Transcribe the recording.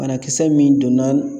Banakisɛ min donna